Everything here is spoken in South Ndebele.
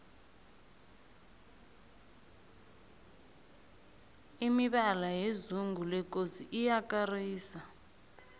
imibala yezungu lekosi iyakarisa